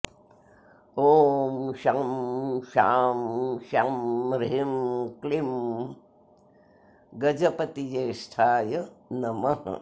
ॐ शं शां षं ह्रीं क्लीं गजपतिज्येष्ठाय नमः